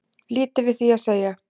Lítið við því að segja